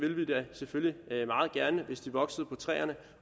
selvfølgelig meget gerne hvis de voksede på træerne